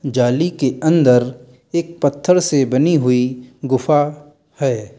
जाली के अन्दर एक पत्थर से बनी हुई गुफ़ा है।